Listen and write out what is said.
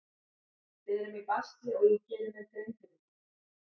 Við erum í basli og ég geri mér grein fyrir því.